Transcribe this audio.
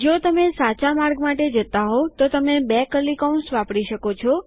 જો તમે સાચા માર્ગ માટે જતા હોવ તો તમે બે કર્લી કૌંસ એટલે કે છગડીયા કૌંસ વાપરી શકો છો